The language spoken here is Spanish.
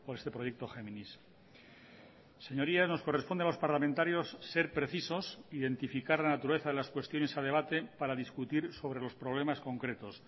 este proyecto géminis señorías nos corresponde a los parlamentarios ser precisos identificar la naturaleza de las cuestiones a debate para discutir sobre los problemas concretos